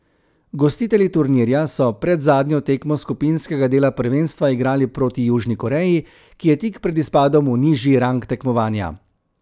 Gostitelji turnirja so predzadnjo tekmo skupinskega dela prvenstva igrali proti Južni Koreji, ki je tik pred izpadom v nižji rang tekmovanja.